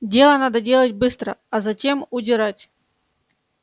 дело надо делать быстро а затем удирать